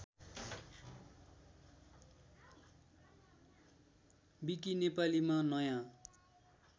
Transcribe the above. विकी नेपालीमा नयाँ